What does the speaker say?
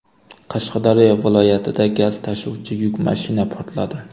Qashqadaryo viloyatida gaz tashuvchi yuk mashina portladi .